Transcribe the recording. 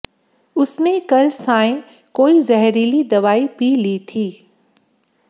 उसने कल सांय कोई जहरीली दवाई पी ली थी